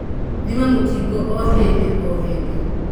Thima mũkingo o hĩndĩo hĩndĩ.